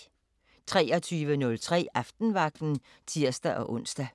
23:03: Aftenvagten (tir-ons)